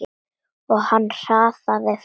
Og hann hraðaði för.